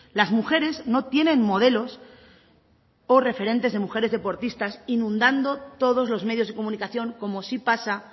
las mujeres no tienen modelos por referentes de mujeres deportistas inundando todos los medios de comunicación como sí pasa